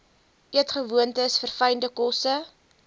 eetgewoontes verfynde kosse